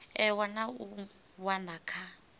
ewa na u wana kha